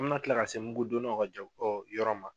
An me na kila ka se mlugu donnaw ka jɔ yɔrɔ ma.